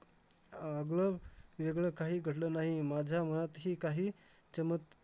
आगळं वेगळं काही घडलं नाही. माझ्या मनातही काही चमत~